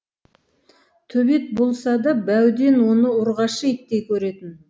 төбет болса да бауден оны ұрғашы иттей көретін